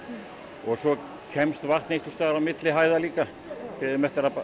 og svo kemst vatn einhvers staðar á milli hæða líka við eigum eftir að